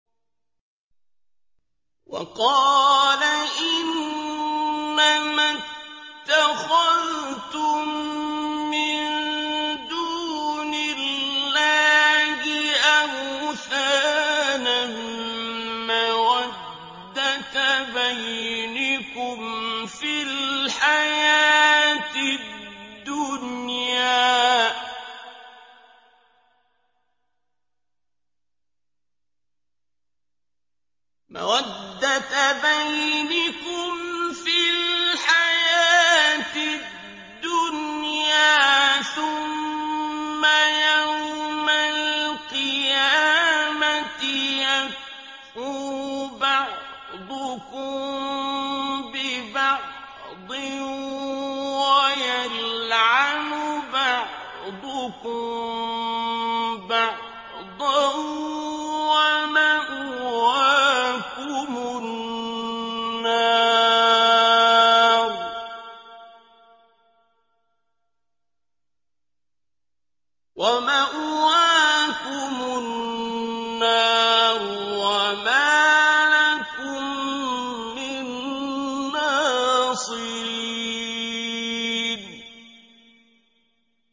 وَقَالَ إِنَّمَا اتَّخَذْتُم مِّن دُونِ اللَّهِ أَوْثَانًا مَّوَدَّةَ بَيْنِكُمْ فِي الْحَيَاةِ الدُّنْيَا ۖ ثُمَّ يَوْمَ الْقِيَامَةِ يَكْفُرُ بَعْضُكُم بِبَعْضٍ وَيَلْعَنُ بَعْضُكُم بَعْضًا وَمَأْوَاكُمُ النَّارُ وَمَا لَكُم مِّن نَّاصِرِينَ